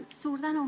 Suur tänu!